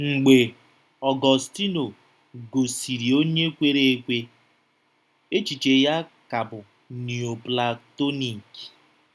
Mgbe Ọgọstinu ghọsịrị onye kwere ekwe, echiche ya ka bụ Nioplatonik.